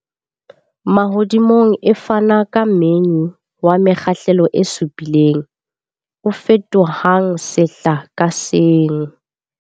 Emazulwini e fana ka menyu wa mekgahlelo e supileng, o fetohang sehla ka seng.